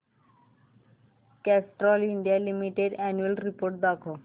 Castrol India limited annual report दाखव